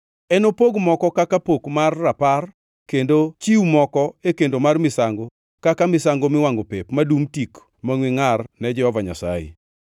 Enopog moko kaka pok mar rapar kendo chiw moko e kendo mar misango kaka misango miwangʼo pep madum tik mangʼwe ngʼar ne Jehova Nyasaye.